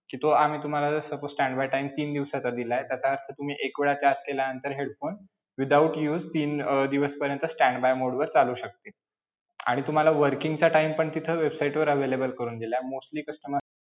कि तो आम्ही तुम्हाला suppose stand by time तीन दिवसाचा दिलाय तर त्यात तुम्ही एक वेळा charge केल्यानंतर headphone, without use तीन अं दिवसपर्यंत stand by mode वर चालू शकेलं आणि तुम्हाला working चा time पण तिथे website वर available करून दिलाय. mostly customer